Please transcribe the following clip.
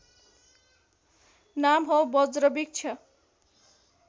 नाम हो बज्रवृक्ष